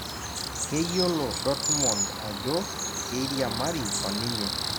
Keyiolo Dotmond ajo keiriamari oninye